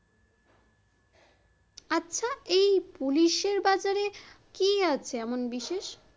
ওই পুলিশের বাজারে কি আছে এমন বিশেষ?